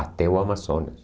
Até o Amazonas.